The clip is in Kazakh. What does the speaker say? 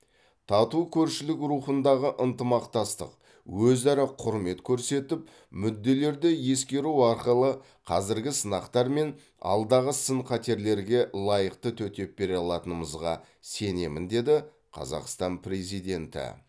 тату көршілік рухындағы ынтымақтастық өзара құрмет көрсетіп мүдделерді ескеру арқылы қазіргі сынақтар мен алдағы сын қатерлерге лайықты төтеп бере алатынымызға сенемін деді қазақстан президенті